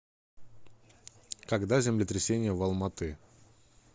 когда землетрясение в алматы